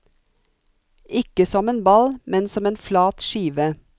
Ikke som en ball, men som en flat skive.